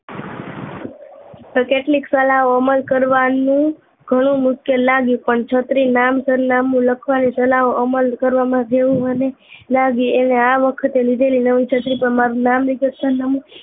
કેટલીક સલાહો અમલ કરવાનું ઘણું મુશ્કેલ લાગ્યું પણ છત્રી નામ સરનામું લખવાની સલાહો અમલ કરવામાં જેવું મન લાગ્યું અને આ વખતે લીધેલી નવી છત્રી પર નામ